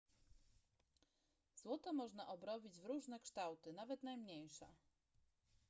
złoto można obrobić w różne kształty nawet najmniejsze